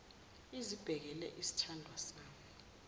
izibekele sithandwa sami